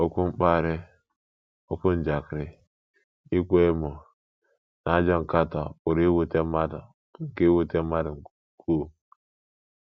Okwu mkparị, okwu njakịrị, ịkwa emo, na ajọ nkatọ pụrụ iwute mmadụ nke iwute mmadụ nke ukwuu.